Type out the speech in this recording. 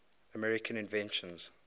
american inventions